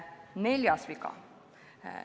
Neljas viga on selline.